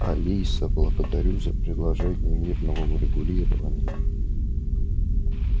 алиса благодарю за предложение мирного урегулирования